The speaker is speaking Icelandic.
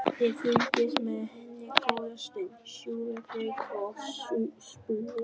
Ég fylgist með henni góða stund, sjúga reyk og spúa.